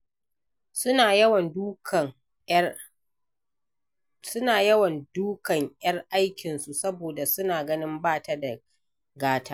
Suna yawan dukan ’yar aikinsu saboda suna ganin ba ta da gata.